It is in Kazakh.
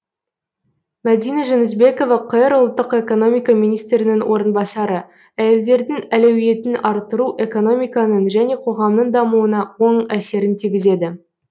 мадина жүнісбекова қр ұлттық экономика министрінің орынбасары әйелдердің әлеуетін арттыру экономиканың және қоғамның дамуына оң әсерін тигізеді